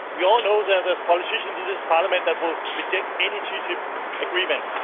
We all know that there are politicians in this Parliament who will reject any TTIP agreement.